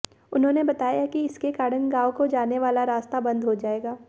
उन्होंने बताया कि इसके कारण गांव को जाने वाले रास्ता बंद हो जाएगा